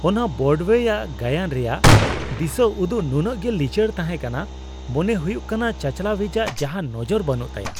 ᱚᱱᱟ ᱵᱨᱚᱰᱳᱭᱮ ᱜᱟᱭᱟᱱ ᱨᱮᱭᱟᱜ ᱫᱤᱥᱟᱹ ᱩᱫᱩᱜ ᱱᱩᱱᱟᱹᱜ ᱜᱮ ᱞᱤᱪᱟᱹᱲ ᱛᱟᱦᱮᱸ ᱠᱟᱱᱟ ᱾ ᱢᱚᱱᱮ ᱦᱩᱭᱩᱜ ᱠᱟᱱᱟ ᱪᱟᱼᱪᱟᱞᱟᱣᱤᱡᱟᱜ ᱡᱟᱦᱟᱱ ᱱᱚᱡᱚᱨ ᱵᱟᱹᱱᱩᱜ ᱛᱟᱭᱟ ᱾